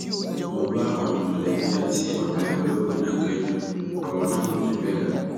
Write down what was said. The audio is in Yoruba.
mo bá àwọn mọlẹbí àti ọrẹ olóògbé náà kẹdùn ọrọ náà kò jù bẹẹ lọ